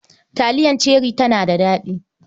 Taliyar Cherie tana da daɗi.